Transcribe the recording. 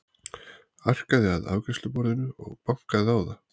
Arkaði að afgreiðsluborðinu og bankaði á það.